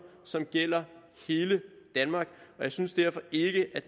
som gælder hele danmark og jeg synes derfor ikke